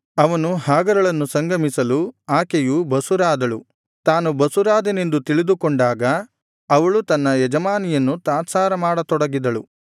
ಅವನು ಹಾಗರಳನ್ನು ಸಂಗಮಿಸಲು ಆಕೆಯು ಬಸುರಾದಳು ತಾನು ಬಸುರಾದೆನೆಂದು ತಿಳಿದುಕೊಂಡಾಗ ಅವಳು ತನ್ನ ಯಜಮಾನಿಯನ್ನು ತಾತ್ಸಾರ ಮಾಡತೊಡಗಿದಳು